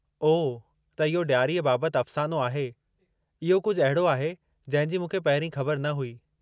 ओह त इहो ॾियारीअ बाबतु अफ़सानो आहे। इहो कुझु अहिड़ो आहे जंहिं जी मूंखे पहिरीं ख़बर न हुई।